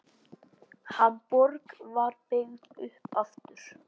Hamborg var byggð upp aftur.